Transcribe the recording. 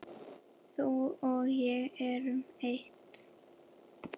Þú og ég erum eitt.